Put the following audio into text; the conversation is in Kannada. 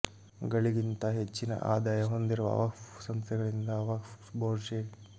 ಗಳಿಗಿಂತ ಹೆಚ್ಚಿನ ಆದಾಯ ಹೊಂದಿರುವ ವಕ್ಫ್ ಸಂಸ್ಥೆಗಳಿಂದ ವಕ್ಫ್ ಬೋರ್ಡ್ ಶೇ